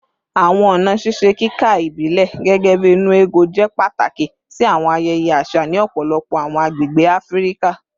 Awọn ọna ṣiṣe kika ibilẹ, gẹgẹbi “nnu ego,” jẹ pataki si awọn ayẹyẹ aṣa ni ọpọlọpọ awọn agbegbe Afirika